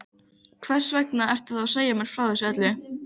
Leysast upp og losna undan allri kröfugerð.